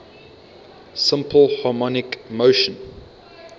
simple harmonic motion